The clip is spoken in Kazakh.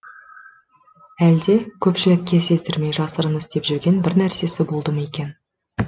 әлде көпшілікке сездірмей жасырын істеп жүрген бір нәрсесі болды ма екен